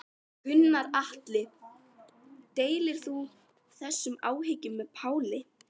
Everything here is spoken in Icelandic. Gunnar Atli: Deilir þú þessum áhyggjum með Páli?